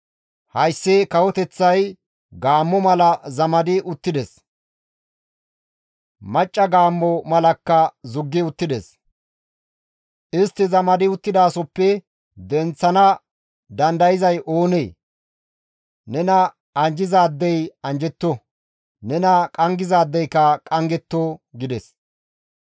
Hayssi kawoteththay gaammo mala zamadi uttides; macca gaammo malakka zuggi uttides; istti zamadi uttidasohoppe istta denththana dandayzay oonee? Nena anjjizaadey anjjetto; nena qanggizaadeyka qanggetto» gides.